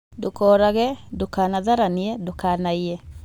Ndũkorage, ndũkanatharanie , ndũkanaiye